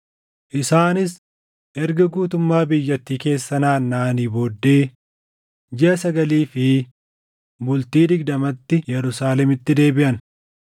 Isaanis erga guutummaa biyyattii keessa naannaʼanii booddee jiʼa sagalii fi bultii digdamaatti Yerusaalemitti deebiʼan.